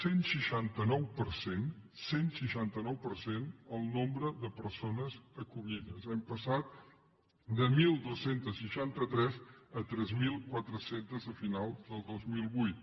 cent i seixanta nou per cent cent i seixanta nou per cent el nombre de persones acollides hem passat de dotze seixanta tres a tres mil quatre cents a final del dos mil vuit